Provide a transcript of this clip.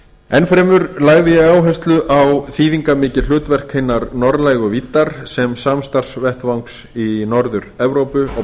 enn fremur lagði ég áherslu á þýðingarmikið hlutverk hinnar norðlægu víddar sem samstarfsvettvangs í norður evrópu og